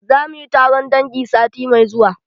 Za mu yi taron dangi sati mai zuwa.